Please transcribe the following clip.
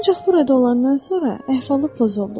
Ancaq burada olandan sonra əhvalı pozuldu.